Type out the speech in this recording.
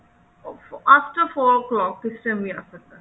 after four o clock ਕਿਸੇ time ਵੀ ਆ ਸਕਦਾ